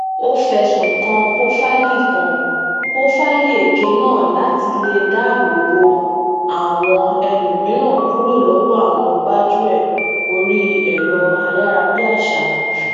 o fẹsun kan pofaili kan pofaili eke naa láti lè dáàbò bo àwọn ẹlòmíràn kúrò lọwọ awọn gbajuẹ orí ẹrọ ayarabiaṣa